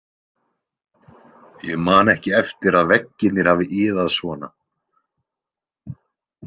Ég man ekki eftir að veggirnir hafi iðað svona